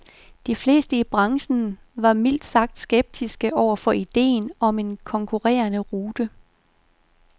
De fleste i branchen var mildt sagt skeptiske over for idéen om en konkurrerende rute.